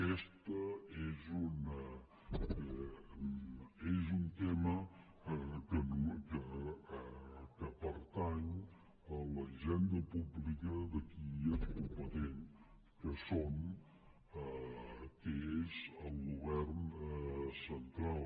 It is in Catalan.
aquest és un tema que pertany a la hisenda pública de qui és competent que són que és el govern central